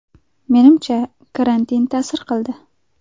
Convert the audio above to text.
Menimcha, karantin ta’sir qildi.